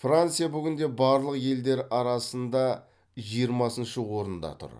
франция бүгінде барлық елдер арасында жиырмасыншы орында тұр